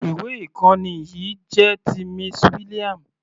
Ìwé ìkọ́ni yìí jẹ́ ti Miss William.